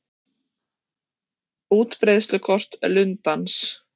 Útbreiðslukort lundans.